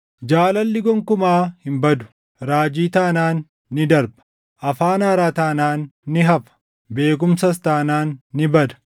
Jaalalli gonkumaa hin badu. Raajii taanaan ni darba; afaan haaraa taanaan ni hafa; beekumsas taanaan ni bada.